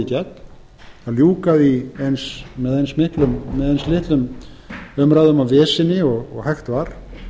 átt að keyra málið í gegn og líka með eins litlum umræðum og veseni og hægt var